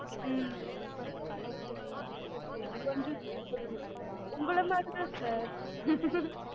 ஹம் அப்டியே கொஞ்சம் துறுதுறுன்னு உங்கள மாதிரி தான் sir